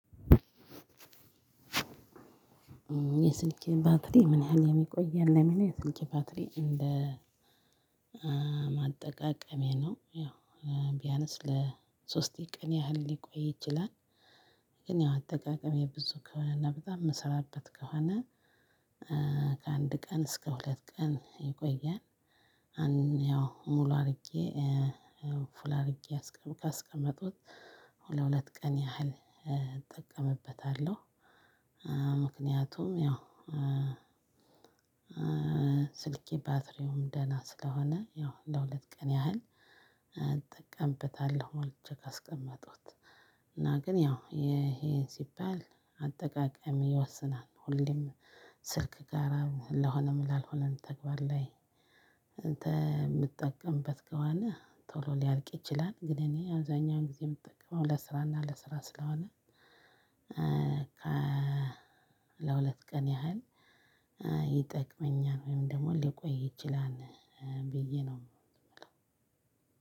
የስልኬ ባትሪ ምን ያህል የሚቆየን ለሚል የስኬት ባትሪ እንደ አጠቃቀሜ ነው ያው ቢያነስ ለሶስት ቀን ያህል ሊቆይ ይችላል። ግን ያው አጠቃቀሜ ብዙ ከሆነና በጣም የምሰራበት ከሆነ ከአንድ ቀን እስከ ሁለት ቀን ይቆያል። አንድ ያው ሙሉ አድርጌ ፉል አርጌ ካስቀመጡት ሁለት ሁለት ቀን ያህል እጠቀምበታለሁ። ምክንያቱም ያው ስልኬ ባትሪውም ደህና ስለሆነ ያው ለሁለት ቀን ያህል እጠቀምበታለሁ ሞልቼ ካስቀመጥኩት እና ግን ያው ይሄን ሲባል አጠቃቀሜ ይወስናል። ሁሌም ስልክ ጋራ ለሆነም ላልሆነም ተግባር ላይ የምትጠቀምበት ከሆነ ቶሎ ሊያልቅ ይችላል። ግን እኔ አብዛኛውን ጊዜ የምጠቀመው ለስራና ለስራ ስለሆነ ከ ለሁለት ቀን ያህል ይጠቅመኛል። ወይም ደግሞ ሊቆይ ይችላል ብዬ ነው።